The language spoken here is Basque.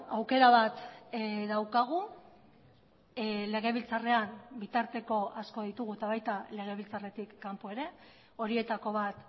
aukera bat daukagu legebiltzarrean bitarteko asko ditugu eta baita legebiltzarretik kanpo ere horietako bat